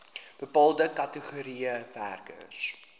bepaalde kategorieë werkers